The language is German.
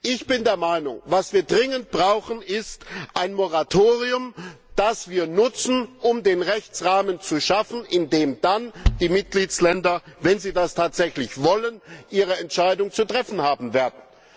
Ich bin der Meinung, was wir dringend brauchen, ist ein Moratorium, das wir nutzen, um den Rechtsrahmen zu schaffen, in dem dann die Mitgliedstaaten, wenn sie das tatsächlich wollen, ihre Entscheidung zu treffen haben werden.